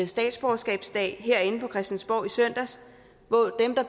statsborgerskabsdag herinde på christiansborg i søndags hvor dem der